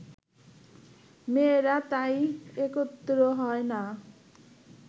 মেয়েরা তাই একত্র হয় না